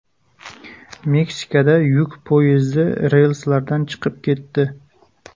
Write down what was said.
Meksikada yuk poyezdi relslardan chiqib ketdi.